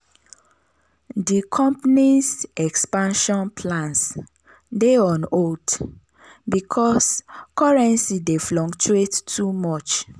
di company's expansion plans dey on hold because currency dey fluctuate too much.